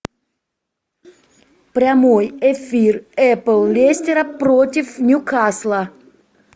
прямой эфир апл лестера против ньюкасла